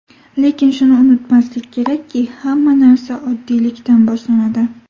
Lekin shuni unutmaslik kerakki, hamma narsa oddiylikdan boshlanadi.